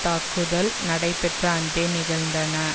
தாக்குதல் நடைபெற்ற அன்றே நிகழ்ந்தன